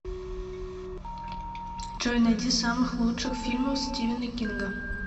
джой найди самых лучших фильмов стивена кинга